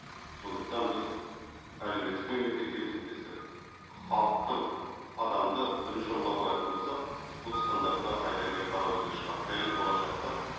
сондықтан біз әлеуметтік мемлекет деп есептесек халықты адамды бірінші орынға қоятын болсақ бұл стандартты қайта келіп қарау керек шығар және болашақта